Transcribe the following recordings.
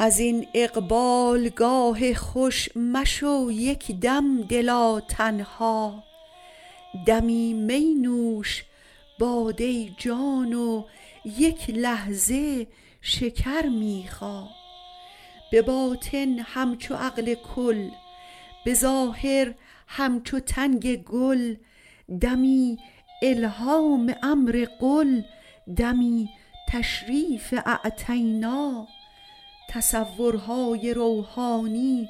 از این اقبالگاه خوش مشو یک دم دلا تنها دمی می نوش باده جان و یک لحظه شکر می خا به باطن همچو عقل کل به ظاهر همچو تنگ گل دمی الهام امر قل دمی تشریف اعطینا تصورهای روحانی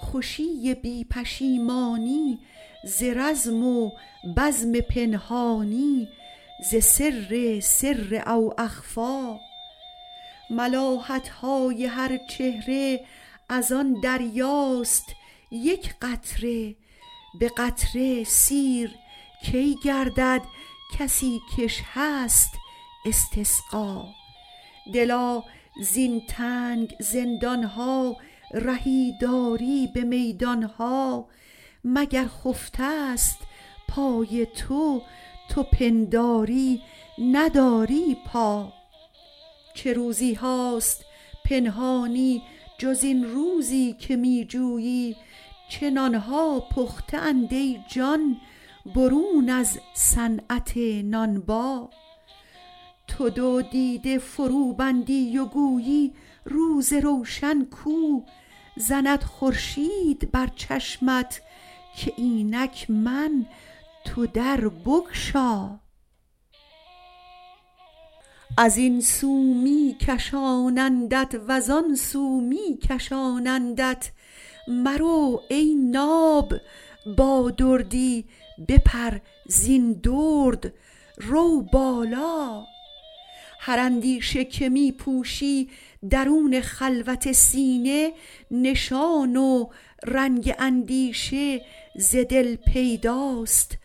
خوشی بی پشیمانی ز رزم و بزم پنهانی ز سر سر او اخفی ملاحت های هر چهره از آن دریاست یک قطره به قطره سیر کی گردد کسی کش هست استسقا دلا زین تنگ زندان ها رهی داری به میدان ها مگر خفته ست پای تو تو پنداری نداری پا چه روزی هاست پنهانی جز این روزی که می جویی چه نان ها پخته اند ای جان برون از صنعت نانبا تو دو دیده فروبندی و گویی روز روشن کو زند خورشید بر چشمت که اینک من تو در بگشا از این سو می کشانندت و زان سو می کشانندت مرو ای ناب با دردی بپر زین درد رو بالا هر اندیشه که می پوشی درون خلوت سینه نشان و رنگ اندیشه ز دل پیداست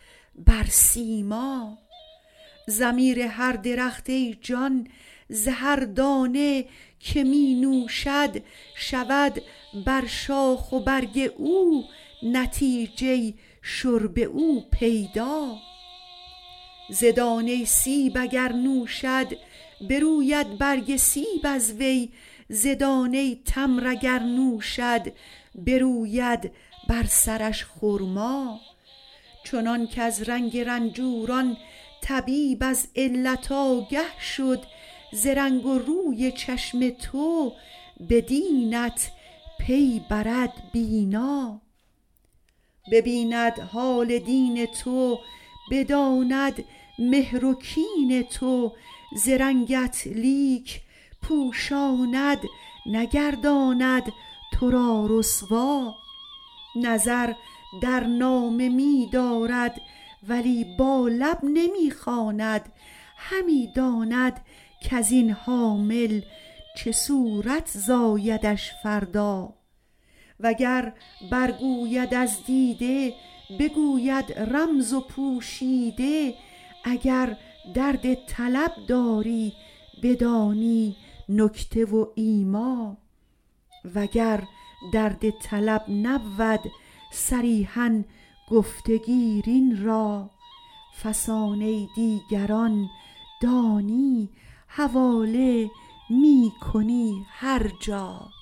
بر سیما ضمیر هر درخت ای جان ز هر دانه که می نوشد شود بر شاخ و برگ او نتیجه شرب او پیدا ز دانه سیب اگر نوشد بروید برگ سیب از وی ز دانه تمر اگر نوشد بروید بر سرش خرما چنانک از رنگ رنجوران طبیب از علت آگه شد ز رنگ و روی چشم تو به دینت پی برد بینا ببیند حال دین تو بداند مهر و کین تو ز رنگت لیک پوشاند نگرداند تو را رسوا نظر در نامه می دارد ولی با لب نمی خواند همی داند کز این حامل چه صورت زایدش فردا وگر برگوید از دیده بگوید رمز و پوشیده اگر درد طلب داری بدانی نکته و ایما وگر درد طلب نبود صریحا گفته گیر این را فسانه دیگران دانی حواله می کنی هر جا